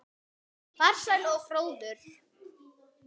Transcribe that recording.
Farsæll og fróður.